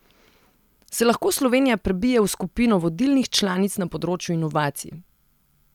Se lahko Slovenija prebije v skupino vodilnih članic na področju inovacij?